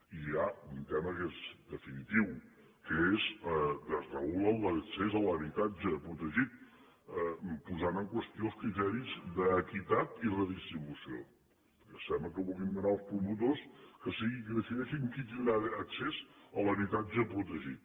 i hi ha un tema que és definitiu que és que desregulen l’accés a l’habitatge protegit posant en qüestió els criteris d’equitat i redistribució perquè sembla que vulguin donar als promotors que siguin qui decideixi qui tindrà accés a l’habitatge protegit